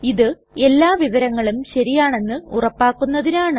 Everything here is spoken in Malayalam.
ഇത് എല്ലാ വിവരങ്ങളും ശരിയാണെന്ന് ഉറപ്പാക്കുന്നതിനാണ്